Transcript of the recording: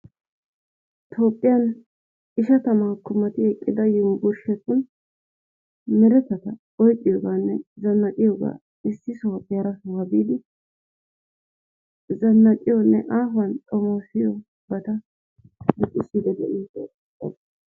Tophphiyaan ishshatamakko mati eqqida yunburushsheti meretettata oyqqiyooganne zanaaqiyoogaa issi sohuwaappe hara sohuwaa biidi zannaqiyoo maaxafaan xoomosiyoobata luxxisiidi de"oosona.